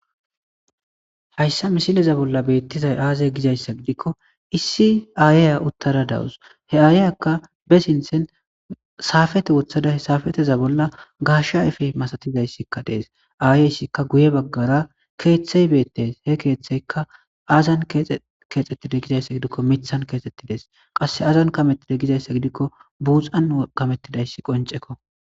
Hayisa misileza bolani betizayi aze gizayisa gidikko issi ayeya utada deawusi he ayiyakka be sinththani sapoete woththadakka sapeteza bola gashshe ayife misatizayisikka deesi ayeyisikka guye bagara keththeyi beteesi he keeththeyikka azani keeththetize gizayisa gidikkoka miththani keththetideesi qase azani kametide gikkokka buxxani kaqetidayisi qonicekko